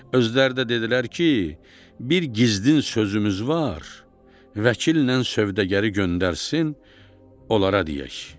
Özləri də dedilər ki, bir gizlin sözümüz var, vəkillə sövdəgəri göndərsin, onlara deyək.